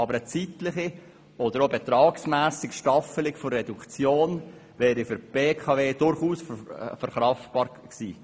Aber eine zeitliche oder auch betragsmässige Staffelung der Reduktion wäre für die BKW durchaus verkraftbar gewesen.